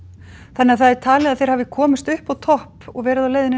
það er talið að þeir hafi komist upp á topp og verið á leið